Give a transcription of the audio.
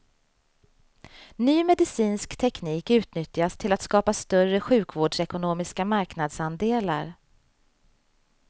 Ny medicinsk teknik utnyttjas till att skapa större sjukvårdsekonomiska marknadsandelar.